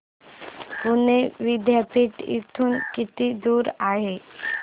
पुणे विद्यापीठ इथून किती दूर आहे